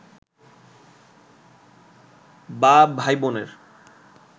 বা ভাইবোনের